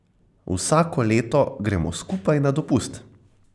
Vsako leto gremo skupaj na dopust.